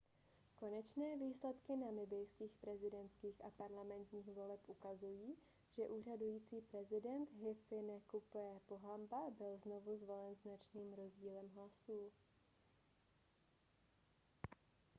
konečné výsledky namibijských prezidentských a parlamentních voleb ukazují že úřadující prezident hifikepunye pohamba byl znovu zvolen značným rozdílem hlasů